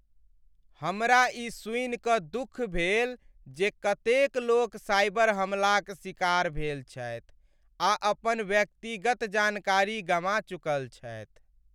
हमरा ई सुनि कऽ दुख भेल जे कतेक लोक साइबर हमलाक शिकार भेल छथि आ अपन व्यक्तिगत जानकारी गमा चुकल छथि।